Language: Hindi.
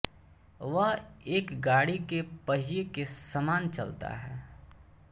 वह एक गाड़ी के पहिए के समान चलता है